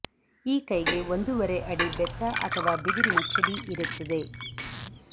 ಈ ಕೈಗೆ ಒಂದೂವರೆ ಅಡಿ ಬೆತ್ತ ಅಥವಾ ಬಿದಿರಿನ ಛಡಿ ಇರುತ್ತದೆ